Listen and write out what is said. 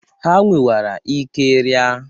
Ha nwerwara ike ria.